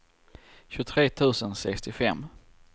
tjugotre tusen sextiofem